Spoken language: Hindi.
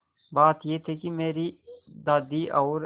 बात यह थी कि मेरी दादी और